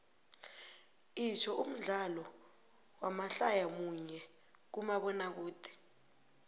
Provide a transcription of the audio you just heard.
itsho umdlalo wamadlaya munye kumabonakude